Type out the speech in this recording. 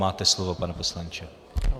Máte slovo, pane poslanče.